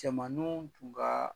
Cɛmannin tun ka